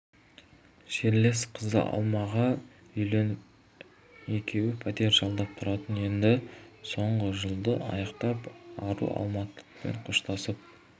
жерлес қызы алмаға үйленіп екеуі пәтер жалдап тұратын енді соңғы жылды аяқтап ару алматымен қоштасып